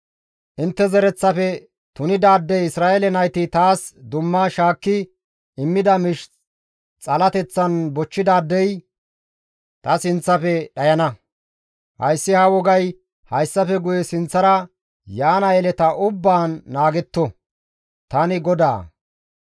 « ‹Intte zereththafe tunidaadey Isra7eele nayti taas dumma shaakki immida miish xalateththan bochchidaadey ta sinththafe dhayana; hayssi ha wogay hayssafe guye sinththara yaana yeleta ubbaan naagetto; tani GODAA.